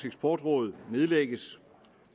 eksportråd nedlægges